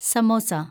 samosa